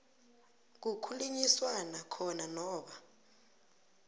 kukhulunyiswana khona noba